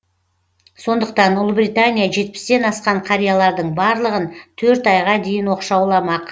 сондықтан ұлыбритания жетпістен асқан қариялардың барлығын төрт айға дейін оқшауламақ